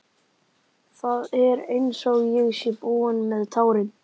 Það er einsog ég sé búin með tárin.